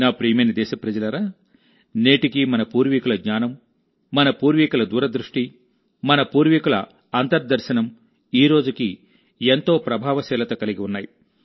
నా ప్రియమైన దేశప్రజలారానేటికీ మన పూర్వికుల జ్ఞానం మన పూర్వికుల దూరదృష్టి మన పూర్వికుల అంతర్దర్శనంఈరోజుకీ ఎంతో ప్రభావశీలత కలిగిఉన్నాయి